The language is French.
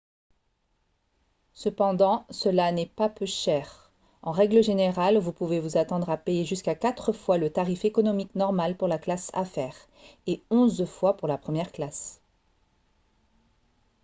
cependant cela n'est pas peu cher en règle générale vous pouvez vous attendre à payer jusqu'à quatre fois le tarif économique normal pour la classe affaire et onze fois pour la première classe